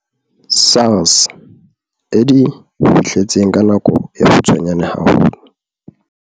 SARS e di fihletseng ka nako e kgutshwanyane haholo.